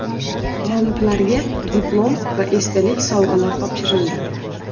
G‘oliblarga diplom va esdalik sovg‘alar topshirildi.